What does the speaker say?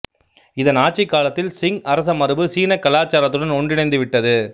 இதன் ஆட்சிக்காலத்தில் சிங் அரசமரபு சீனக் கலாச்சாரத்துடன் ஒன்றிணைந்து விட்டது